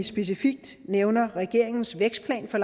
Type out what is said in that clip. specifikt nævner regeringens vækstplan for